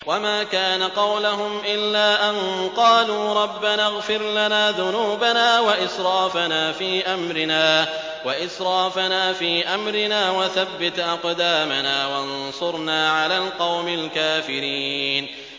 وَمَا كَانَ قَوْلَهُمْ إِلَّا أَن قَالُوا رَبَّنَا اغْفِرْ لَنَا ذُنُوبَنَا وَإِسْرَافَنَا فِي أَمْرِنَا وَثَبِّتْ أَقْدَامَنَا وَانصُرْنَا عَلَى الْقَوْمِ الْكَافِرِينَ